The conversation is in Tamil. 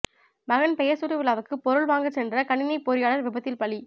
மகன் பெயர் சூட்டுவிழாவுக்கு பொருள் வாங்கச்சென்ற கணினி பொறியாளர் விபத்தில் பலி